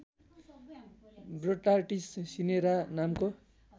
Botrytis cinerea नामको